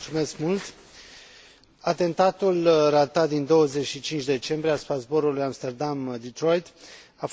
Atentatul ratat din 25 decembrie asupra zborului Amsterdam Detroit a fost de fapt doar un fapt revelator